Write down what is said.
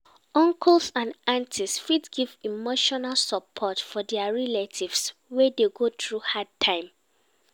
Uncles and aunties fit give emotional support for their relative wey dey go through hard time